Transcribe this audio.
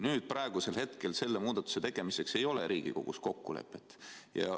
Nüüd, selle muudatuse tegemiseks aga ei ole Riigikogus kokkulepet.